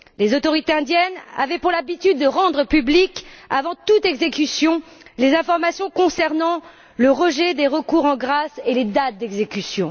Les autorités indiennes avaient pour habitude de rendre publiques avant toute exécution les informations concernant le rejet des recours en grâce et les dates d'exécution.